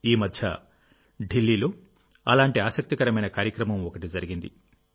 ఈ మధ్య ఢిల్లీలో అలాంటి ఆసక్తికరమైన కార్యక్రమం ఒకటి జరిగింది